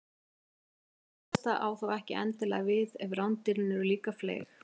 þetta síðasta á þó ekki endilega við ef rándýrin eru líka fleyg